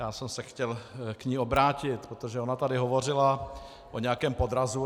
Já jsem se chtěl k ní obrátit, protože ona tady hovořila o nějakém podrazu.